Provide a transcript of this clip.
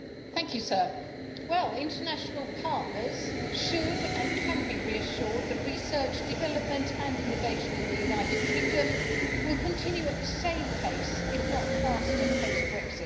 Mr President, international partners should be, and can be, reassured that research, development and innovation in the United Kingdom will continue at the same pace, if not faster, post Brexit.